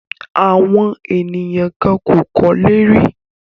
Àwọn ènìyàn kan kò kọ́lé rí.